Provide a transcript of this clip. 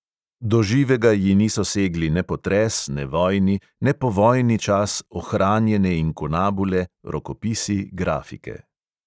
Do živega ji niso segli ne potres, ne vojni, ne povojni čas, ohranjene inkunabule, rokopisi, grafike.